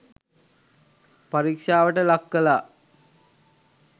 පරීක්ෂාවට ලක් කලා.